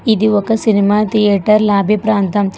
ఇది ఒక సినిమా థియేటర్లు లాబీప్రాంతం.